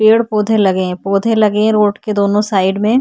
पेड़ पोधे लगे है पोधे लगे है रोड के दोनों साइड में।